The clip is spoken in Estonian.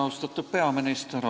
Austatud peaminister!